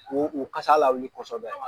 K'u u kasa lawili kɔsɛbɛ